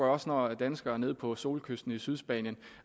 også når danskere nede på solkysten i sydspanien